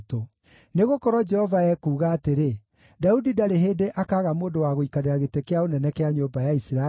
Nĩgũkorwo Jehova ekuuga atĩrĩ: ‘Daudi ndarĩ hĩndĩ akaaga mũndũ wa gũikarĩra gĩtĩ kĩa ũnene kĩa nyũmba ya Isiraeli,